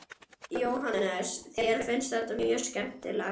Jóhannes: Þér finnst þetta mjög skemmtilegt?